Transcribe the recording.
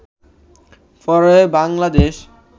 পড়ে বাংলাদেশ